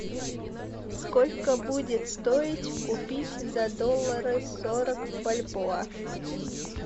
сколько будет стоить купить за доллары сорок бальбоа